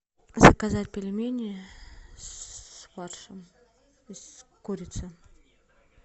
заказать пельмени с фаршем и с курицей